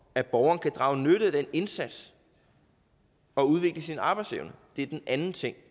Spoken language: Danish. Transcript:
at borgeren kan drage nytte af den indsats og udvikle sin arbejdsevne det er den anden ting